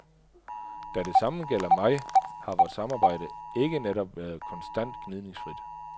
Da det samme gælder mig, har vort samarbejde ikke netop været konstant gnidningsfrit.